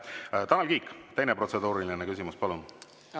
Tanel Kiik, teine protseduuriline küsimus, palun!